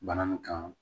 Bana nin kan